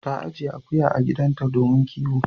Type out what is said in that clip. Ta ajiye akuya a gidanta domin kiwo.